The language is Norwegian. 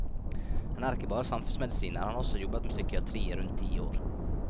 Han er ikke bare samfunnsmedisiner, han har også jobbet med psykiatri i rundt ti år.